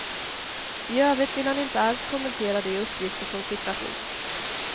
I övrigt vill han inte alls kommentera de uppgifter som sipprat ut.